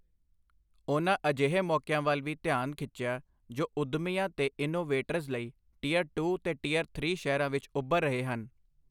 ਉਨ੍ਹਾਂ ਅਜਿਹੇ ਮੌਕੀਆਂ ਵੱਲ ਵੀ ਧਿਆਨ ਖਿੱਚਿਆ, ਜੋ ਉੰਦਮੀਆਂ ਤੇ ਇਨੋਵੇਟਰਸ ਲਈ ਟਿਯਰ ਟੂ ਤੇ ਟਿਯਰ ਥ੍ਰੀ ਸ਼ਹਿਰਾਂ ਵਿੱਚ ਉੱਭਰ ਰਹੇ ਹਨ।